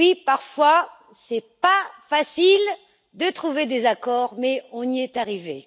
Parfois, ce n'est pas facile de trouver des accords, mais nous y sommes arrivés.